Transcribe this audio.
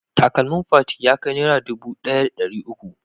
Takalmin Fati ya kai Naira dubu ɗaya da ɗari uku?